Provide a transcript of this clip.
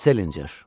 Salinger.